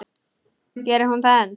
Gerir hún það enn?